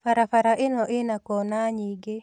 Barabara ĩno ĩna kona nyingĩ